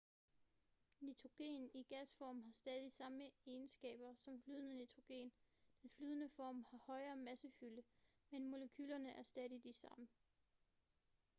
nitrogen i gasform har stadig samme egenskaber som flydende nitrogen den flydende form har højere massefylde men molekylerne er stadig de samme